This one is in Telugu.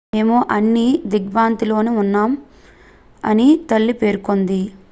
"""మేము అన్ని దిగ్భ్రాంతిలో ఉన్నాం" అని తల్లి పేర్కొంది.